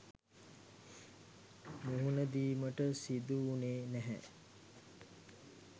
මුහුණදීමට සිදු වුණේ නැහැ.